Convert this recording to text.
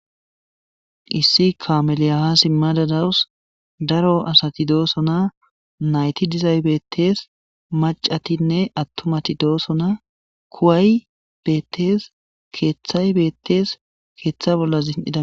issi kameliyaha simmadadawus daro asati doosona nayti dizaybettees macatinne attumati doosona kuway bettes keeththay bettees keeththa bolla zin7ida